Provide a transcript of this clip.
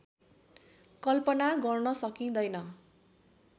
कल्पना गर्न सकिँदैन